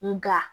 Nga